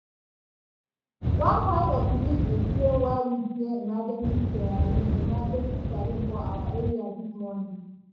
one part of news explain why we hear emergency siren emergency siren for our area dis morning.